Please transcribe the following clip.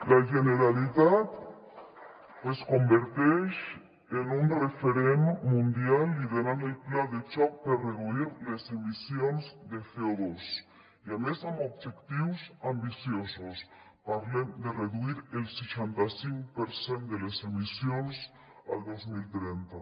la generalitat es converteix en un referent mundial liderant el pla de xoc per reduir les emissions de coobjectius ambiciosos parlem de reduir el seixanta cinc per cent de les emissions el dos mil trenta